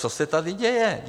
Co se tady děje?